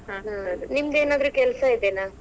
ನೀಮ್ದ್ ಏನಾದ್ರು ಕೆಲ್ಸಾ ಇದೆನಾ?